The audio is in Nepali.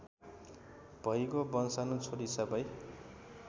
भइगो वंशाणु छोडी सबै